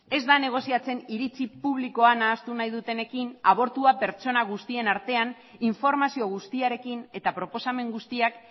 ez da negoziatzen iritzi publikoa nahastu nahi dutenekin abortua pertsona guztien artean informazio guztiarekin eta proposamen guztiak